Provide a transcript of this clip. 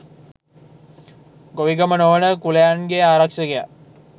ගොවිගම නොවන කුලයන්ගේ ආරක්ෂකයා